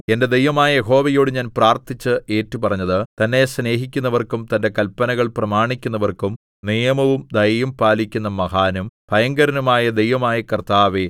എന്റെ ദൈവമായ യഹോവയോടു ഞാൻ പ്രാർത്ഥിച്ച് ഏറ്റുപറഞ്ഞത് തന്നെ സ്നേഹിക്കുന്നവർക്കും തന്റെ കല്പനകൾ പ്രമാണിക്കുന്നവർക്കും നിയമവും ദയയും പാലിക്കുന്ന മഹാനും ഭയങ്കരനുമായ ദൈവമായ കർത്താവേ